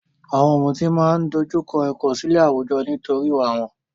Àwọn ọ̀mùtí máa ń dojú kọ ìkọ̀sílẹ̀ àwùjọ nítorí ìwà wọn.